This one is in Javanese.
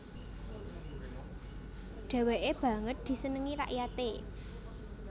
Dheweke banget disenengi rakyate